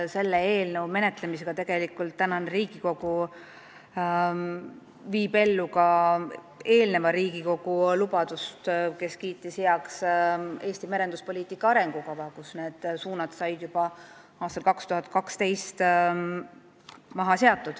Selle eelnõu menetlemisega viib tänane Riigikogu ellu ka eelmise Riigikogu lubaduse, kes kiitis heaks Eesti merenduspoliitika arengukava, mille suunad seati paika juba aastal 2012.